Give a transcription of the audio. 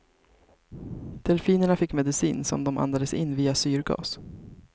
Delfinerna fick medicin, som de andades in via syrgas.